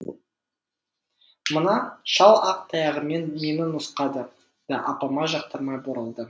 мына шал ақ таяғымен мені нұсқады да апама жақтырмай бұрылды